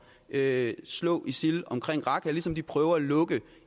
at slå isil omkring raqqa ligesom de prøver at lukke